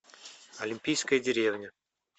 олимпийская деревня